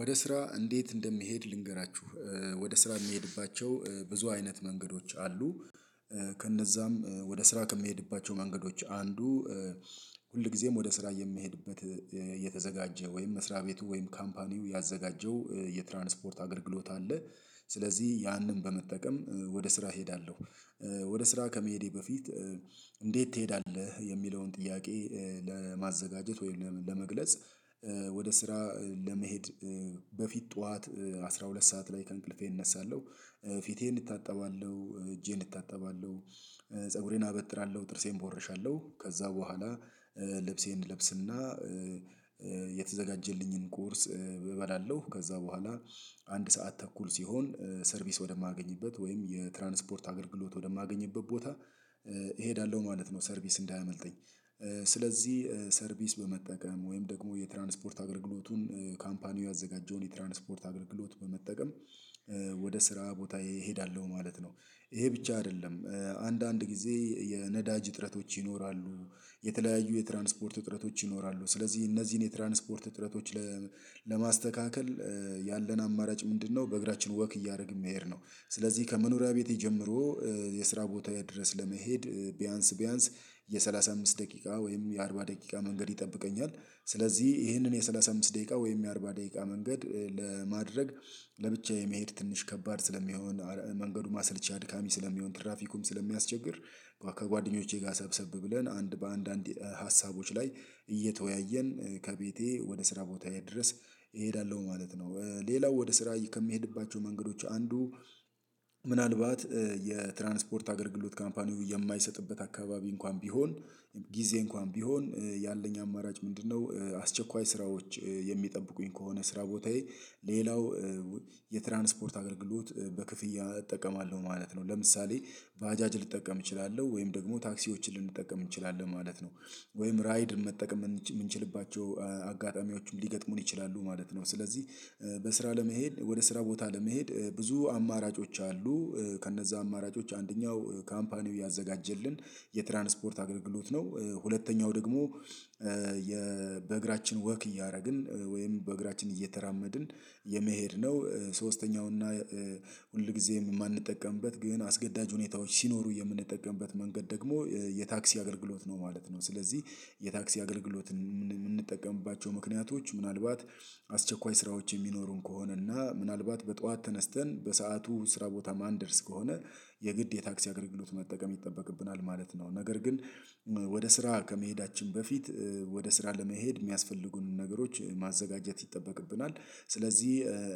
ወደ ስራ እንዴት እንደሚሄድ ልንገራችሁ ወደ ስራ ምሄድባቸው ብዙ አይነት መንገዶች አሉ። ከነዛም ወደ ስራ ከምሄድባቸው መንገዶች አንዱ። ሁል ግዜም ወደ ስራ የሚሄድበት የተዘጋጀ ወይም መስሪያ ቤቱ ወይም ካምፓኒው ያዘጋጀው የትራንስፖርት አገልግሎት አለ። ስለዚህ ያንን በመጠቀም ወደ ስራ እሄዳለሁ። ወደ ስራ ከመሄዴ በፊት እንዴት ትሄዳለህ የሚለውን ጥያቄ። ለማዘጋጀት ወይም ለመግለጽ ወደ ስራ ለመሄድ በፊት ጠዋት አስራ ሁለት ሰዓት ላይ ከእንቅልፌ እነሳለሁ። ፊቴን እታጠባለው እጄን እታጠባለው። ፀጉሬን አበጥራለሁ ጥርሴን እቦወርሻለሁ ከዛ በኋላ ልብሴን እለብስና የተዘጋጀልኝን ቁርስ እበላለሁ። ከዛ በኋላ አንድ ሰዓት ተኩል ሲሆን ሰርቪስ ወደማገኝበት ወይም የትራንስፖርት አገልግሎት ወደማገኝበት ቦታ እሄዳለሁ ማለት ነው። ሰርቪስ እንዳያመልጠኝ። ስለዚህ ሰርቪስ በመጠቀም ወይም ደግሞ የትራንስፖርት አገልግሎቱን ካምፓኒው ያዘጋጀውን የትራንስፖርት አገልግሎት በመጠቀም ወደ ስራ ቦታየ እሄዳለሁ። ማለት ነው። እሄ ብቻ አደለም። አንዳንድ ግዜ የነዳጅ እጥረቶች ይኖራሉ። የተለያዩ የትራንስፖርት እጥረቶች ይኖራሉ ስለዚህ እነዚህን የትራንስፖርት እጥረቶች። ለማስተካከል ያለን አማራጭ ምንድነው? በእግራችን ወክ እያደረግን መሄድ ነው። ስለዚህ ከመኖሪያ ቤቴ ጀምሮ የስራ ቦታየ ድረስ ለመሄድ ቢያንስ ቢያንስ የሠላሳ አምስት ደቂቃ ወይም የአርባ ደቂቃ መንገድ ይጠብቀኛል። ስለዚህ ይህንን የሠላሳ አምስት ደቂቃ ወይም የአርባ ደቂቃ መንገድ ለማድረግ ለብቻዬ መሄድ ትንሽ ከባድ ስለሚሆን መንገዱም አስልቻ አድካሚ ስለሚሆን ትራፊኩም ስለሚያስቸግር። ከጓደኞቼ ጋር ሰብሰብ ብለን አንድ በአንድ አንድ ሀሳቦች ላይ እየተወያየን ከቤቴ ወደ ስራ ቦታዬ ድረስ እሄዳለሁ ማለት ነው። ሌላው ወደ ስራ ከምሄድባቸው መንገዶች አንዱ። ምናልባት የትራንስፖርት አገልግሎት ካምፓኒው የማይሰጥበት አካባቢ እንኳን ቢሆን ጊዜ እንኳን ቢሆን ያለኝ አማራጭ ምንድነው? አስቸኳይ ስራዎች የሚጠብቁኝ ከሆነ ስራ ቦታዬ ሌላው የትራንስፖርት አገልግሎት በክፍያ እጠቀማለሁ ማለት ነው። ለምሳሌ ባጃጅ ልጠቀም እችላለሁ ወይም ደግሞ ታክሲዎችን ልንጠቀም እንችላለን ማለት ነው። ወይም ራይድ መጠቀም ምንችልባቸው አጋጣሚዎችም ሊገጥሙን ይችላሉ ማለት ነው። ስለዚህ በስራ ለመሄድ ወደ ስራ ቦታ ለመሄድ ብዙ አማራጮች አሉ። ከነዛ አማራጮች አንደኛው ካምፓኒው ያዘጋጀልን የትራንስፖርት አገልግሎት ነው። ሁለተኛው ደግሞ በእግራችን ወክ እያረግን ወይም በእግራችን እየተራመድን የመሄድ ነው። ሶስተኛው እና ሁልግዜም ማንጠቀምበት ግን አስገዳጅ ሁኔታዎች ሲኖሩ የምንጠቀምበት መንገድ ደግሞ የታክሲ አገልግሎት ነው ማለት ነው። ስለዚህ የታክሲ አገልግሎትን ምንጠቀምባቸው ምክንያቶች ምናልባት አስቸኳይ ስራዎች እሚኖሩን ከሆነና ምናልባት በጧት ተነስተን በሰአቱ ስራ ቦታ ማን ደርስ ከሆነ የግድ የታክሲ አገልግሎት መጠቀም ይጠበቅብናል ማለት ነው። ነገር ግን ወደ ስራ ከመሄዳችን በፊት ወደ ስራ ለመሄድ ሚያስፈልጉንን ነገሮች ማዘጋጀት ይጠበቅብናል። ስለዚህ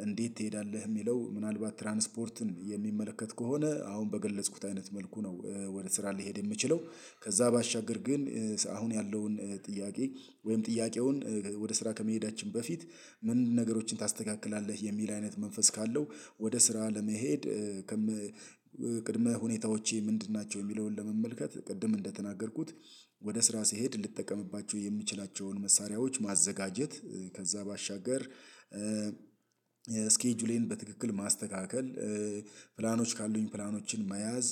እንዴት ትሄዳለህ ሚለው ምናልባት ትራንስፖርትን የሚመለከት ከሆነ አሁን በገለጽኩት አይነት መልኩ ነው። ወደ ስራ ልሄድ የምችለው ከዛ ባሻገር ግን አሁን ያለውን ጥያቄ ወይም ጥያቄውን ወደ ስራ ከመሄዳችን በፊት ምንድን ነገሮችን ታስተካክላለህ የሚል አይነት መንፈስ ካለው ወደ ስራ ለመሄድ። ቅድመ ሁኔታዎቼ ምንድን ናቸው? የሚለውን ለመመልከት ቅድም እንደተናገርኩት ወደ ስራ ስሄድ ልጠቀምባቸው የምችላቸውን መሳሪያዎች ማዘጋጀት። ከዛ ባሻገር ስኬጁሌን በትክክል ማስተካከል ፕላኖች ካሉኝ ፕላኖችን መያዝ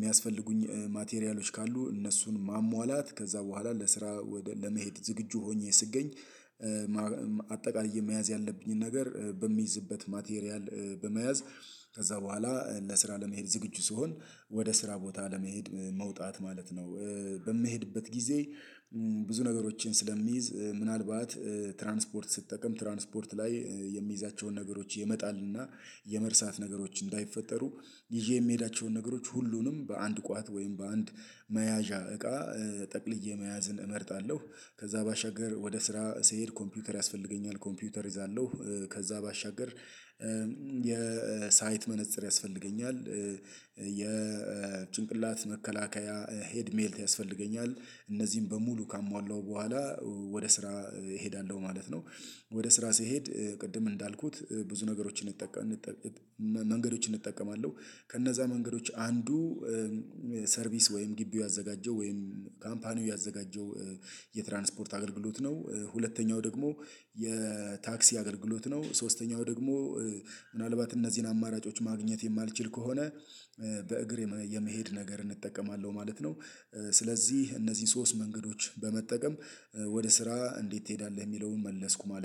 ሚያስፈልጉኝ ማቴሪያሎች ካሉ እነሱን ማሟላት ከዛ በኋላ ለስራ ወደ ለመሄድ ዝግጁ ሆኜ ስገኝ። አጠቃላይ የመያዝ ያለብኝን ነገር በምይዝበት ማቴሪያል በመያዝ ከዛ በኋላ ለስራ ለመሄድ ዝግጁ ስሆን ወደ ስራ ቦታ ለመሄድ መውጣት ማለት ነው። በምሄድበት ጊዜ ብዙ ነገሮችን ስለምይዝ ምናልባት ትራንስፖርት ስጠቀም ትራንስፖርት ላይ የሚይዛቸውን ነገሮች የመጣልና የመርሳት ነገሮች እንዳይፈጠሩ ይዤ ምሄዳቸውን ነገሮች ሁሉንም በአንድ ቋት ወይም በአንድ መያዣ እቃ ጠቅልዬ መያዝን እመርጣለሁ። ከዛ ባሻገር ወደ ስራ ስሄድ ኮምፒውተር ያስፈልገኛል ኮምፒውተር እይዛለሁ ከዛ ባሻገር የሳይት መነፀር ያስፈልገኛል የጭንቅላት መከላከያ ሄድሜት ያስፈልገኛል እነዚህን በሙሉ ካሟላው በኋላ ወደ ስራ እሄዳለሁ ማለት ነው። ወደ ስራ ስሄድ ቅድም እንዳልኩት ብዙ ነገሮችን እንጠቀም መንገዶችን እጠቀማለሁ። ከነዛ መንገዶች አንዱ። ሰርቪስ ወይም ግቢው ያዘጋጀው ወይም ካምፓኒው ያዘጋጀው የትራንስፖርት አገልግሎት ነው። ሁለተኛው ደግሞ የታክሲ አገልግሎት ነው ሶስተኛው ደግሞ ምናልባት እነዚህን አማራጮች ማግኘት የማልችል ከሆነ። በእግር የመሄድ ነገርን እጠቀማለሁ ማለት ነው። ስለዚህ እነዚህን ሶስት መንገዶች በመጠቀም ወደ ስራ እንዴት ትሄዳለህ ሚለውን መለስኩ ማለት ነው